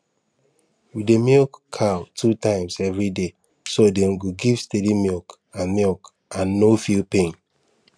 we dey milk cow two times every day so dem go give steady milk and milk and no feel pain